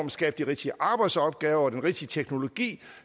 at skabe de rigtige arbejdsopgaver og bruge den rigtige teknologi